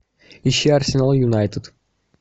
ищи арсенал юнайтед